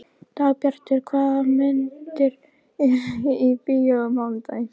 Dagbjartur, hvaða myndir eru í bíó á mánudaginn?